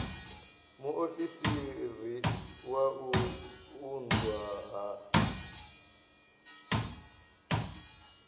muofisiri wa u unḓwa ha